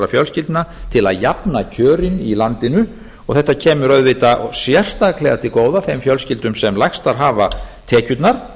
fjölskyldna til að jafna kjörin í landinu og þetta kemur auðvitað sérstaklega til góða þeim fjölskyldum sem lægstar hafa tekjurnar